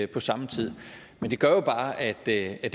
på samme tid men det gør jo bare at det er